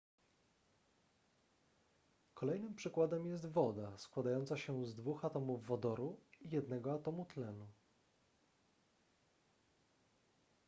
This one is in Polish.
kolejnym przykładem jest woda składająca się z dwóch atomów wodoru i jednego atomu tlenu